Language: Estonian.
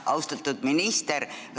Austatud minister!